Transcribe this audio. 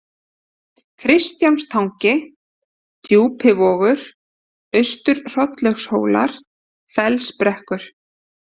Kristjánstangi, Djúpivogur, Austur-Hrollaugshólar, Fellsbrekkur